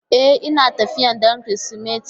E, Ina tafiya don Kirsimeti.